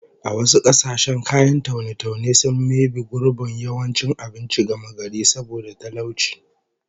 A wasu kasashen kayan taune-taune sun maybe gurbin yawancin abinci gamagari saboda talauci